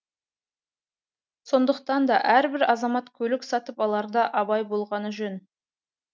сондықтан да әрбір азамат көлік сатып аларда абай болғаны жөн